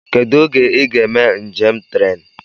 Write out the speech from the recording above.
Kedụ oge I ga eme njem tren?